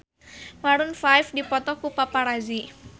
Maroon 5 dipoto ku paparazi